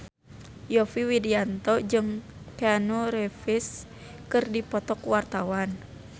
Yovie Widianto jeung Keanu Reeves keur dipoto ku wartawan